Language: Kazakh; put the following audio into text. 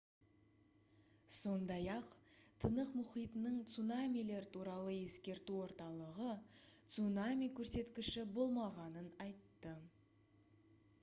сондай-ақ тынық мұхитының цунамилер туралы ескерту орталығы цунами көрсеткіші болмағанын айтты